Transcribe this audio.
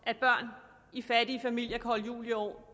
at børn i fattige familier kan holde jul i år